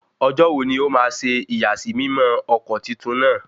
Ọjọ́ wo ni ó ma ṣe ìyàsímímọ́ ọkọ̀ titun náà?